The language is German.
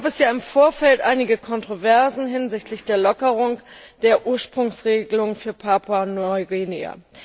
Hier gab es im Vorfeld einige Kontroversen hinsichtlich der Lockerung der Ursprungsregelung für Papua Neuguinea.